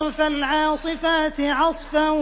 فَالْعَاصِفَاتِ عَصْفًا